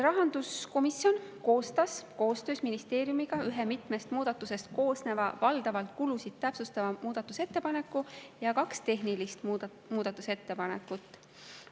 Rahanduskomisjon koostas koostöös ministeeriumiga ühe mitmest muudatusest koosneva, valdavalt kulusid täpsustava muudatusettepaneku ja kaks tehnilist muudatusettepanekut.